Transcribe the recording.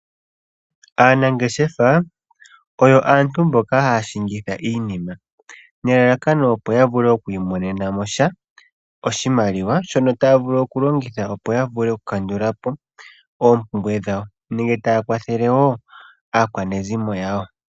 Aanangeshefa oyo aantu mboka haya landitha iinima nelalakano opo ya vule oku imonena mo sha. Oshimaliwa shono taya vulu oku longitha opo ya vule oku kandulapo oompumbwe dhawo. Nenge taya kwathele woo aakwanezimo yawo.